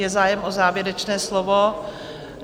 Je zájem o závěrečné slovo?